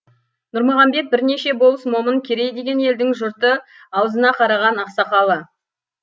нұрмағамбет бірнеше болыс момын керей деген елдің жұрты аузына қараған ақсақалы